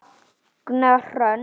Magnea Hrönn.